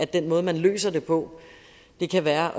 den måde man løser det på kan være